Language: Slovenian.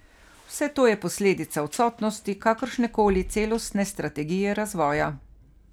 Vse to je posledica odsotnosti kakršne koli celostne strategije razvoja.